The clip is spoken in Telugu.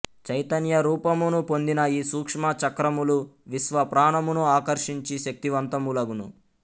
చైతన్య రూపమును పొందిన ఈ సూక్ష్మ చక్రములు విశ్వ ప్రాణమును ఆకర్షించి శక్తివంతములగును